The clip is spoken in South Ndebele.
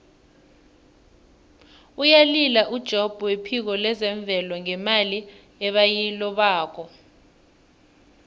uyalila ujobb wephiko lezemvelo ngemali ebayilobako